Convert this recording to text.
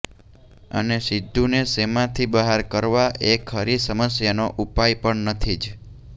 અને સિદ્ધુને શોમાંથી બહાર કરવા એ ખરી સમસ્યાનો ઉપાય પણ નથી જ